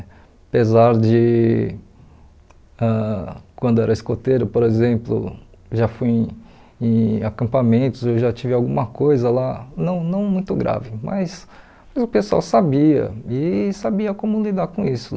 Apesar de, ãh quando eu era escoteiro, por exemplo, já fui em em acampamentos, eu já tive alguma coisa lá, não não muito grave, mas o pessoal sabia e sabia como lidar com isso.